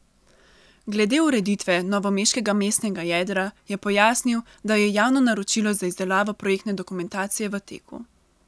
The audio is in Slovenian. Glede ureditve novomeškega mestnega jedra je pojasnil, da je javno naročilo za izdelavo projektne dokumentacije v teku.